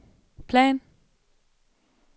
plan